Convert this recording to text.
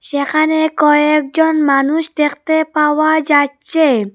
যেখানে কয়েকজন মানুষ দেখতে পাওয়া যাচ্চে।